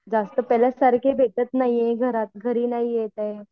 जास्त पाहिल्यासारखे भेटत नाही ये घरात, घरी नाही येत आहे.